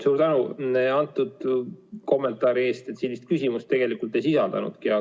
Suur tänu antud kommentaari eest, see vist küsimust tegelikult ei sisaldanudki.